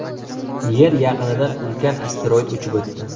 Yer yaqinidan ulkan asteroid uchib o‘tdi .